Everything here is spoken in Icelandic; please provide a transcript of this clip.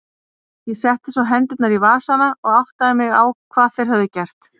Ég setti svo hendurnar í vasana og áttaði mig á hvað þeir höfðu gert.